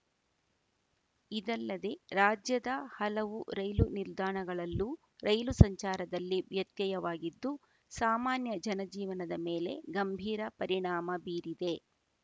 ಇದಲ್ಲದೆ ರಾಜ್ಯದ ಹಲವು ರೈಲು ನಿಲ್ದಾಣಗಳಲ್ಲೂ ರೈಲು ಸಂಚಾರದಲ್ಲಿ ವ್ಯತ್ಯಯವಾಗಿದ್ದು ಸಾಮಾನ್ಯ ಜನಜೀವನದ ಮೇಲೆ ಗಂಭೀರ ಪರಿಣಾಮ ಬೀರಿದೆ